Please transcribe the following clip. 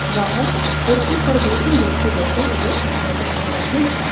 बाहर कुर्सी पर दो तीन व्यक्ति बैठे हुए नजर आ रहे हैं।